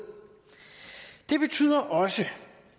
det betyder også at